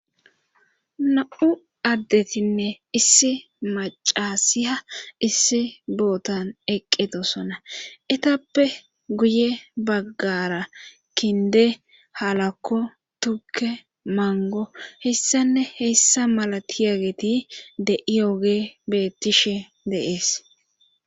na7u addetinne issi macasiya issi bootan eqqetosona etappe guye baggara kinde halakko tukke mango hessanne heessa malati yageti de7i oge beettishe de7es